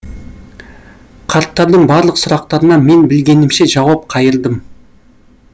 қарттардың барлық сұрақтарына мен білгенімше жауап қайырдым